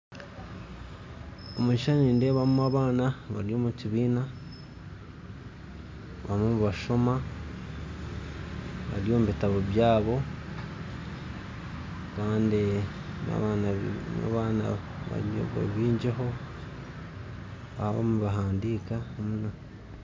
Omu kishuushani nindeebamu abaana bari omu kibiina barimu nibashoma bari omu bitabo byabo kandi n'abaana baingiho barimu nibahandiika